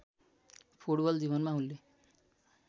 football जीवनमा उनले